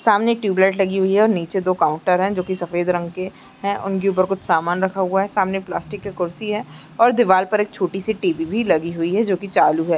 सामने एक tube light लगी हुई है और नीचे दो काउंटर है जो की सफेद रंग के है उनके ऊपर कुछ सामान रखा हुआ है सामने प्लास्टिक की कुर्सी है और दीवार पर एक छोटी सी टी_वी भी लगी हुई है जो कि चालू है।